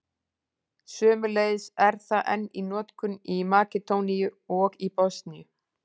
Sömuleiðis er það enn í notkun í Makedóníu og Bosníu.